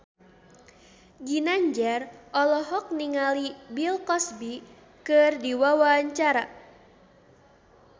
Ginanjar olohok ningali Bill Cosby keur diwawancara